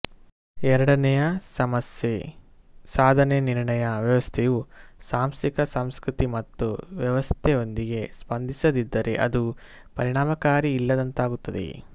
ಎರಡನೇಯ ಸಮಸ್ಯೆ ಸಾಧನೆ ನಿರ್ಣಯ ವ್ಯವಸ್ಥೆಯು ಸಾಂಸ್ಥಿಕ ಸಂಸ್ಕೃತಿ ಮತ್ತು ವ್ಯವಸ್ಥೆಯೊಂದಿಗೆ ಸ್ಪಂದಿಸದಿದ್ದರೆ ಅದು ಪರಿಣಾಮಕಾರಿ ಇಲ್ಲದಂತಾಗುತ್ತದೆ